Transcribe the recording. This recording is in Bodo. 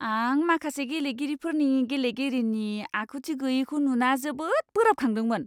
आं माखासे गेलेगिरिफोरनि गेलेगिरिनि आखुथि गैयैखौ नुना जोबोद बोराबखांदोंमोन!